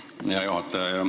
Aitäh, hea juhataja!